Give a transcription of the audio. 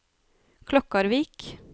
Klokkarvik